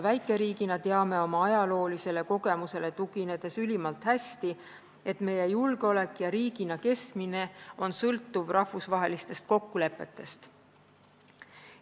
Väikeriigina teame oma ajaloolisele kogemusele tuginedes ülimalt hästi, et meie julgeolek ja riigina kestmine on sõltuvad rahvusvahelistest kokkulepetest.